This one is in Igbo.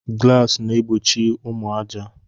Glasis na egbochi ụmụ aja.